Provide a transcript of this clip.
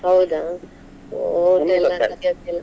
ಹೌದಾ? ನನಗೋಸ್ಕರ.